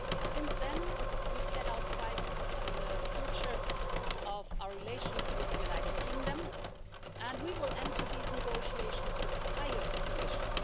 Since then, we've set our sights on the future of our relations with the United Kingdom, and we will enter these negotiations with the highest ambition.